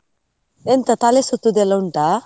ಎಂತಾ ತಲೆ ಸುತ್ತುದು ಎಲ್ಲಾ ಉಂಟಾ?